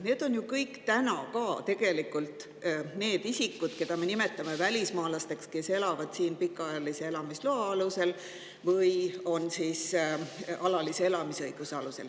Need kõik on ju tegelikult täna ka need isikud, keda me nimetame välismaalasteks ja kes elavad siin pikaajalise elamisloa või alalise elamisõiguse alusel.